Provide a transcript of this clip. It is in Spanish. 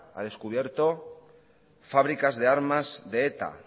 ha descubierto fábricas de armas de eta